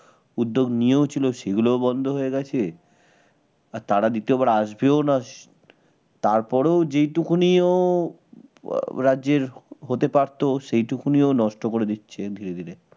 উদ্যোগ নিয়েও ছিল সেগুলোও বন্ধ হয়ে গেছে আর তারা দ্বিতীয়বার আসবেও না তার পরেও যেহেতু নিও রাজ্যের আহ রাজ্যের হতে পারতো সেইটুকুনিও নষ্ট করে দিচ্ছে ধীরে ধীরে